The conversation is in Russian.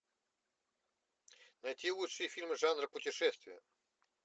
найти лучшие фильмы жанра путешествия